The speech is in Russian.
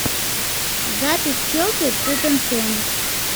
запись челси тоттенхэм